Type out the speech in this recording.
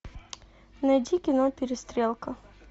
найди кино перестрелка